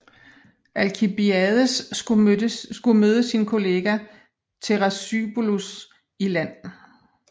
Alkibiades skulle møde sin kollega Thrasybulos i land